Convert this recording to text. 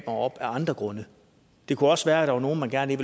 op af andre grunde det kunne også være at der var nogle man gerne